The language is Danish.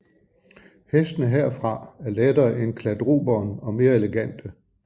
Hestene herfra er lettere end kladruberen og mere elegante